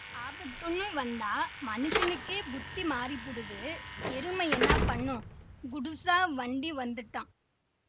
ஆபத்துன்னு வந்தா மனுசனுக்கே புத்தி மாறிப்பூடுது எருமை என்னா பண்ணும் கூடுசா வண்டி வந்துட்டான்